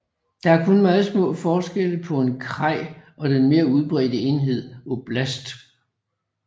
Der er kun meget små forskelle på en kraj og den mere udbredte enhed oblast